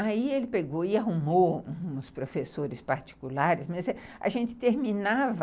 Aí ele pegou e arrumou uns professores particulares, mas a gente terminava...